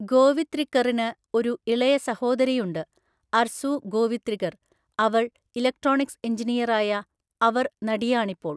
ഗോവിത്രിക്കറിന് ഒരു ഇളയ സഹോദരിയുണ്ട്, അർസൂ ഗോവിത്രികർ, അവൾ ഇലക്ട്രോണിക്സ് എഞ്ചിനീയറായ അവർ നടിയാണ് ഇപ്പോൾ.